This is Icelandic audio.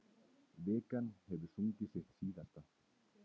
Vikan hefur sungið sitt síðasta.